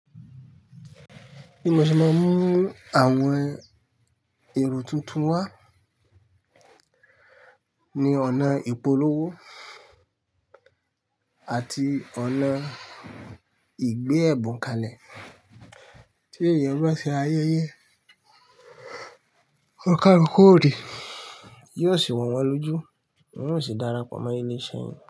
Bí mo ṣe máa ń mú àwọn èrò tuntun wá ni ọ̀nà ìpolówó àti ọ̀nà ìgbé ẹ̀bùn kalẹ̀ tí èèyàn bá ṣe ayẹyẹ. Ọkọ̀ okọ́re yóò sì wọ́n lójú, wọn yóò sì darapọ̀ mọ ẹni ṣe ń jẹ.